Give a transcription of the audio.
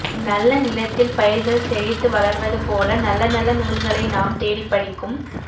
நல்ல நிலத்தில் பயிர்கள் செழித்து வளர்வது போல நல்ல நல்ல நூல்களை நாம் தேடிப்படிக்கும்